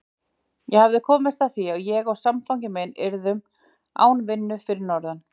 Ég hafði komist að því að ég og samfangi minn yrðum án vinnu fyrir norðan.